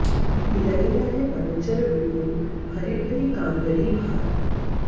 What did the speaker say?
लइ आए बनचर बिपुल भरि भरि काँवरि भार